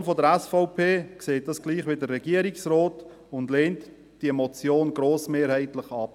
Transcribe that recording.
Die Fraktion der SVP sieht dies gleich wie der Regierungsrat und lehnt die Motion grossmehrheitlich ab.